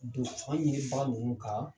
Don fan ɲinibaga ninnu ka